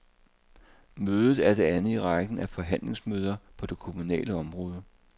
Mødet er det andet i rækken af forhandlingsmøder på det kommunale område.